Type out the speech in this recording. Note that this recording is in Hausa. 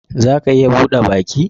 Za a iya bude baki?